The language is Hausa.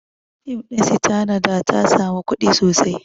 Fim ɗin Sitanada ta sami kuɗi sosai